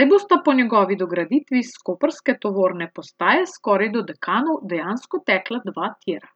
saj bosta po njegovi dograditvi s koprske tovorne postaje skoraj do Dekanov dejansko tekla dva tira.